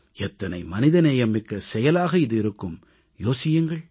எத்தனை மனிதநேயம் மிக்க செயலாக இது இருக்கும் யோசியுங்கள்